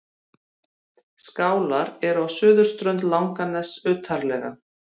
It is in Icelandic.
Skálar eru á suðurströnd Langaness utarlega.